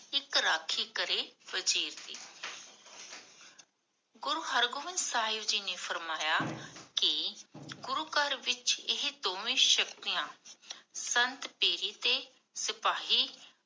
ਇਕ ਰਾਖਿਗੜੇ ਦੀ ਗੁਰੂ ਹਰਗੋਬਿੰਦ ਸਾਹਿਬ ਜੀ ਨੇ ਫਰਮਾਇਆ ਕਿ, ਗੁਰੂ ਘਰ ਇਹ ਦੋਵੇ ਸ਼ਕਤੀਆਂ, ਸੰਤ ਦੇਰੀ ਤੇ, ਵਾਹੀ